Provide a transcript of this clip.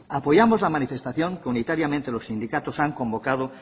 apoyamos la manifestación que unitariamente los sindicatos han convocada